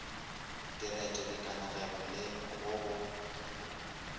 direto dikanegelo le go go